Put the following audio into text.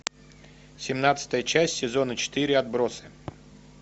семнадцатая часть сезона четыре отбросы